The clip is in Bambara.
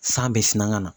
San bɛ sina ka na